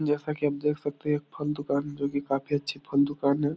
जैसा की आप देख सकते है एक फल दुकान जो की काफी अच्छा फल दुकान है।